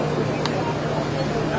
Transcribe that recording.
Üç min beş yüz.